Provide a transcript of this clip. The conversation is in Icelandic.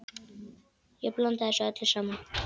Ég blanda þessu öllu saman.